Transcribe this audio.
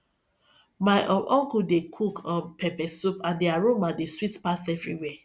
my um uncle dey cook um pepper soup and the aroma dey sweet pass everywhere